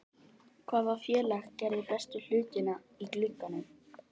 Hvaða félag gerði bestu hlutina í glugganum?